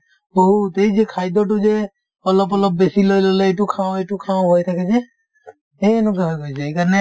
বহুত এই যে খাদ্যতো যে অলপ অলপ বেছি লৈ ল'লে এইটো খাওঁ সেইটো খাওঁ হৈ থাকে যে এই সেনেকুৱা হৈ গৈছে সেইকাৰণে